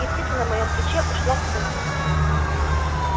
и птица на моём плече ушла в сумрак